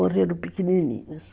Morreram pequenininhos.